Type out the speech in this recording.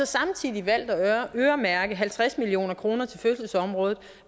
samtidig valgt at øremærke halvtreds million kroner til fødselsområdet